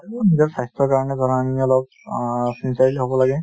নিজৰ স্বাস্থ্যৰ কাৰণে জনাখিনিয়ে অলপ অ চিন্তাশীল হ'ব লাগে